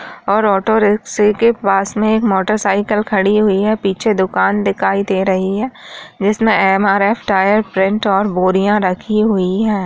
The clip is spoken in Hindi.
और ऑटो रिक्शे के पास में एक मोटर साइकिल खड़ी हुई है पीछे दुकान दिखाई दे रही है जिसमें एम.आर.एफ. टायर प्रिंट और बोरियां रखी हुई है।